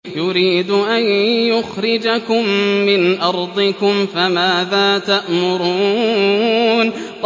يُرِيدُ أَن يُخْرِجَكُم مِّنْ أَرْضِكُمْ ۖ فَمَاذَا تَأْمُرُونَ